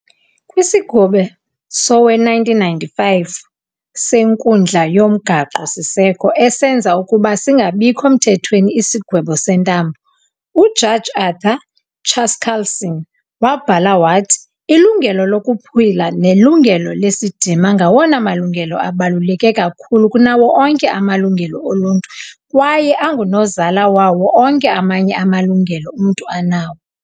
Kwisigwebo sowe-1995 seNkundla yoMgaqo-siseko esenza ukuba singabikho [-]mthethweni isigwebo sentambo, uJaji Arthur Chaskalson wabhala wathi- "Ilungelo lokuphila nelungelo lesidima ngawona malungelo abaluleke kakhulu kunawo onke amalungelo oluntu kwaye angunozala wawo onke amanye amalungelo umntu anawo."